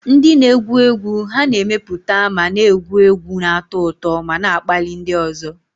Ndị na-egwu egwu ha na-emepụta ma na-egwu egwu, na-atọ ụtọ ma na-akpali ndị ọzọ.